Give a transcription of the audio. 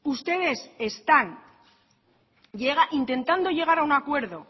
ustedes están intentando llegar a un acuerdo